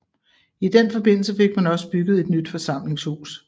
I den forbindelse fik man også bygget et nyt forsamlingshus